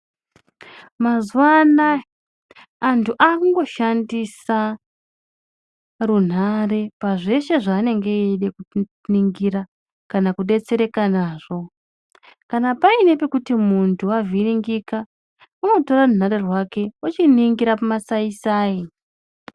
Mazuwa anaya antu akungoshandisa runhare pazveshe zvaanenge eide kuningira kana kudetsereka nazvo kana paine pekuti muntu wavhiringika unotora runhare rwake ochiningira pamasaisai.